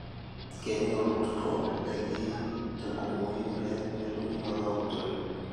keinyal olkurto ndaikinte nkumoi oleng netumi mazao kutii oleng